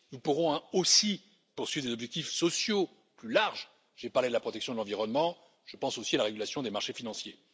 Nous pourrons aussi poursuivre des objectifs sociaux plus larges. J'ai parlé de la protection de l'environnement, je pense aussi à la régulation des marchés financiers.